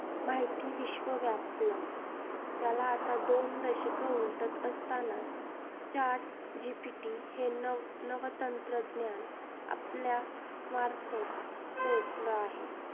माहिती विश्व व्यापलं. त्याला आता दोन दशकं उलटत असतांना chat GPT हे नव नवतंत्रज्ञान आपल्या मार्फत पोहोचलं आहे.